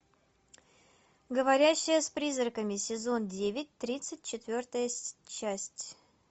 говорящая с призраками сезон девять тридцать четвертая часть